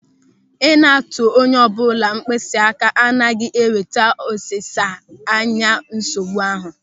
Ị na-atụ onye ọbụla mkpịsị aka agaghị eweta ọsịsa nye nsogbu ahụ.